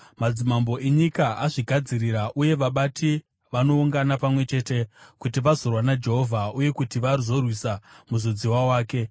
Madzimambo enyika azvigadzirira uye vabati vanoungana pamwe chete kuti vazorwa naJehovha, uye kuti vazorwisa Muzodziwa Wake.